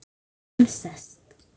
Sólin sest.